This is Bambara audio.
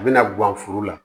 A bɛna gan foro la